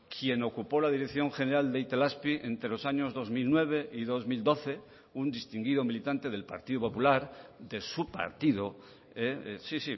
quien ocupó la dirección general de itelazpi entre los años dos mil nueve y dos mil doce un distinguido militante del partido popular de su partido sí